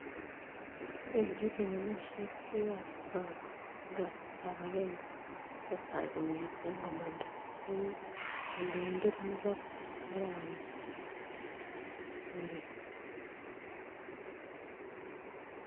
bendi lewenisiet biik ab Zimbabwe en kasitap Agenge , chetai kongeten komanda negi kondoindet Mugabe en arawet ab buret